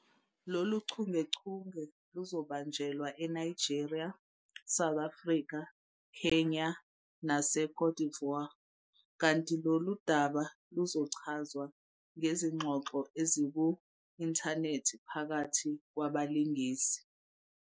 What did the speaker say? Lolu chungechunge luzobanjelwa eNigeria, South Africa, Kenya naseCôte d'Ivoire kanti lolu daba luzochazwa ngezingxoxo eziku-inthanethi phakathi kwabalingisi.